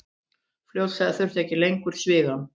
Fljótlega þurfti ekki lengur svigann.